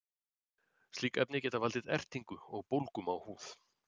slík efni geta valdið ertingu og bólgum á húð